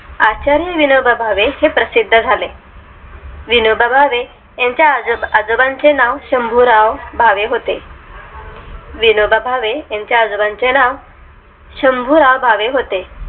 आचार्य विनोबा भावे हे प्रसिद्ध झाले विनोबा भावे यांच्या आजोबांचे नाव शंभु राव भावे होते विनोबा भावे यांच्या आजोबांचे नाव शंभु राव भावे होते